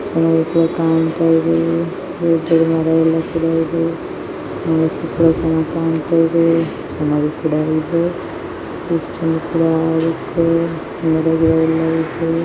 ಚನಾಗು ಕೂಡ ಕಣ್ತಾಯಿದೆ. ದೊಡ್ ದೊಡ್ ಮರಯಲ್ಲ ಕೂಡ ಇದೆ. ನೋಡೋಕು ಕೂಡ ಚನಾಗ ಕಾಣ್ತಾಯ್ದೆ ಚನಾಗು ಕೂಡ ಇದೆ. ಕೂಡ ಆಗತ್ತೆ